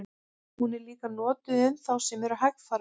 Hún er líka notuð um þá sem eru hægfara.